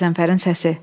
Qəzənfərin səsi.